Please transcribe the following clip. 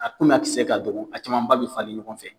A koni a kisɛ ka dɔgɔ a camanba bɛ falen ɲɔgɔn fɛ.